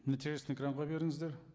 нәтижесін экранға беріңіздер